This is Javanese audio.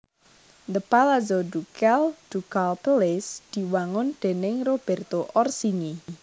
The Palazzo Ducale Ducal Palace diwangun déning Roberto Orsini